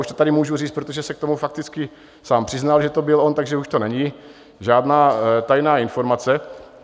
Už to tady můžu říct, protože se k tomu fakticky sám přiznal, že to byl on, takže už to není žádná tajná informace.